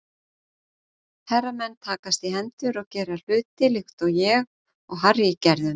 Herramenn takast í hendur og gera hluti líkt og ég og Harry gerðum.